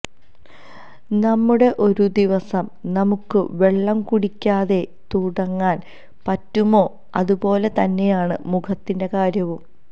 നമ്മുടെ ഒരു ദിവസം നമുക്ക വെള്ളം കുടിയ്ക്കാതെ തുടങ്ങാന് പറ്റുമോ അതുപോലെ തന്നെയാണ് മുഖത്തിന്റെ കാര്യവും